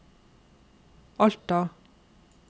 Alta